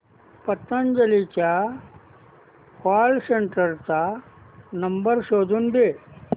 पतंजली च्या call centre चा number शोधून दे